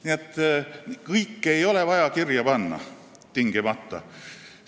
Nii et kõike ei ole vaja tingimata kirja panna.